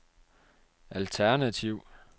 alternativ